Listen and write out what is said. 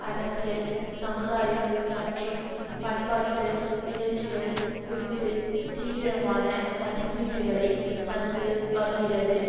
அரசியல் சமுதாயம் மற்றும் பண்பாட்டு நிகழ்ச்சிகள் குறித்து தீவிரமான மதிப்பீடுகளை தந்து வருகிறது